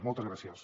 moltes gràcies